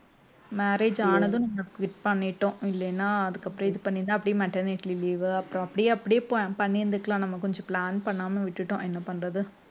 marriage ஆனதும் நம்ம quit பண்ணிட்டோம் இல்லைன்னா அதுக்கப்புறம் இது பண்ணி இருந்தா அப்படியே maternity leave உ அப்புறம் அப்படியே அப்படியே பண்ணி இருந்துக்கலாம் நம்ம கொஞ்சம் plan பண்ணாம விட்டுட்டோம் என்ன பண்றது